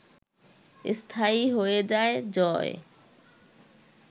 স্থায়ী হয়ে যায় জয়